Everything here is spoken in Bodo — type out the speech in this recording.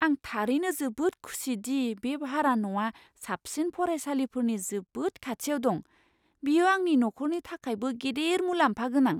आं थारैनो जोबोद खुसि दि बे भारा न'आ साबसिन फरायसालिफोरनि जोबोद खाथियाव दं। बियो आंनि नखरनि थाखायबो गिदिर मुलाम्फागोनां!